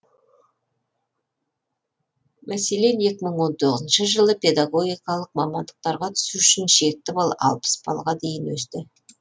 мәселен екі мың он тоғызыншы жылы педагогикалық мамандықтарға түсу үшін шекті балл алпыс балға дейін өсті